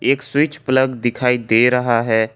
एक switch plug दिखाई दे रहा है।